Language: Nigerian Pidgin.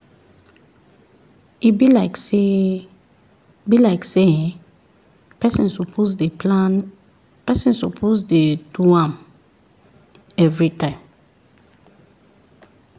e be like say be like say[um]person suppose dey plan person suppose dey do am everytime